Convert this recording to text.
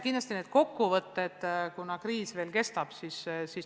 Kindlasti tuleb neid kokkuvõtteid edaspidi, kuna kriis veel kestab.